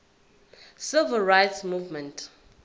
civil rights movement